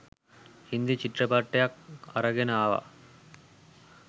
හින්දි චිත්‍රපටයක් අරගෙන අවා